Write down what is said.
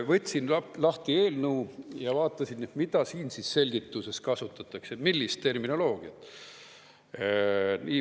Võtsin lahti eelnõu ja vaatasin, mida siin selgituses kasutatakse, millist terminoloogiat.